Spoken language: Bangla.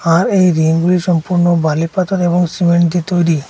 আর এই রিংগুলি সম্পূর্ণ বালিপাথর এবং সিমেন্ট দিয়ে তৈরি।